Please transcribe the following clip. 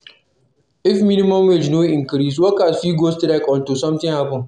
If minimum wage no increase, workers fit go strike until something happen